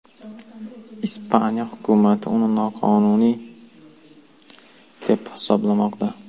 Ispaniya hukumati uni noqonuniy deb hisoblamoqda.